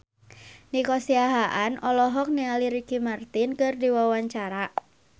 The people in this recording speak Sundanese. Nico Siahaan olohok ningali Ricky Martin keur diwawancara